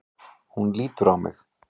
Hún lítur á mig.